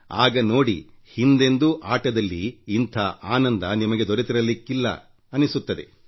ಆಗ ನೋಡಿ ಹಿಂದೆಂದೂ ಆಟದಲ್ಲಿ ಇಂಥ ಆನಂದ ನಿಮಗೆ ದೊರೆತಿರಲಿಕ್ಕಿಲ್ಲ ಹಾಗನ್ನಿಸುತ್ತದೆ